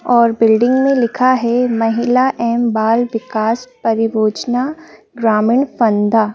और बिल्डिंग में लिखा है महिला एवं बाल विकास परियोजना ग्रामीण फंदा।